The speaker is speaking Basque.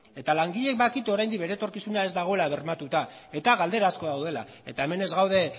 eta langileek badakite oraindik bere etorkizuna ez dagoela bermatuta eta galdera asko daudela eta hemen ez gaude